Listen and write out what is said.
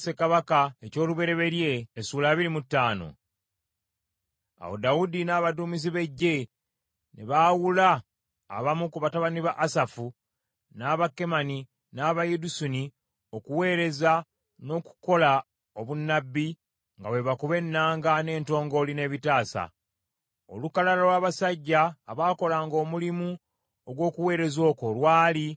Awo Dawudi n’abaduumizi b’eggye, ne baawula abamu ku batabani ba Asafu, n’aba Kemani, n’aba Yedusuni okuweereza, n’okukola obunnabbi, nga bwe bakuba ennanga, n’entongooli, n’ebitaasa. Olukalala lw’abasajja abaakolanga omulimu ogw’okuweereza okwo, lwali: